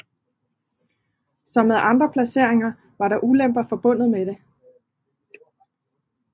Som med andre placeringer var der ulemper forbundet med det